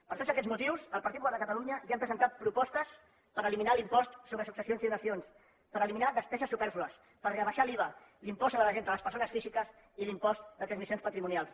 per tots aquests motius el partit popular de catalunya ja hem presentat propostes per eliminar l’impost sobre successions i donacions per eliminar despeses supèrflues per rebaixar l’iva l’impost sobre la renda de les persones físiques i l’impost de transmissions patrimonials